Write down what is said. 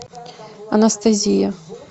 анестезия